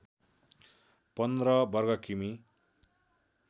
१५ वर्ग किमी